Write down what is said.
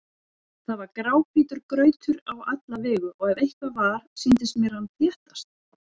Það var gráhvítur grautur á alla vegu og ef eitthvað var, sýndist mér hann þéttast.